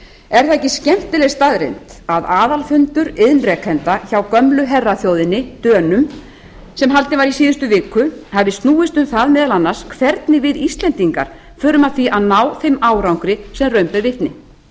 er það ekki skemmtileg staðreynd að aðalfundur iðnrekenda hjá gömlu herraþjóðinni dönum sem haldinn var í síðustu viku hafi snúist um það meðal annars hvernig við íslendingar förum að því að ná þeim árangri sem raun ber vitni